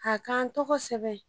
A ka n tɔgɔ sɛbɛn